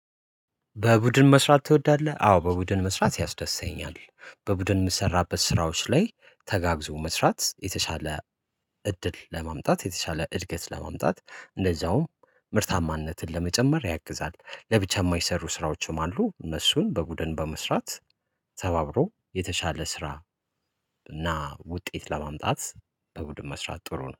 በቡድን መስራት ትወዳለህ? አዎ በቡድን መስራት ያስደስተኛል። በቡድን ሚሰራበት ስራዎች ላይ ተጋግዞ መስራት የተሻለ እድል ለማምጣት የተሻለ እድገት ለማምጣት እንደዛውም ምርታማነትን ለመጨመር ያግዛል። ለብቻም የማይሰሩ ስራዎችም አሉ እነሱን በቡድን በመስራት ተባብሮ የተሻለ ስራ። እና ውጤት ለማምጣት በቡድን መስራት ጥሩ ነው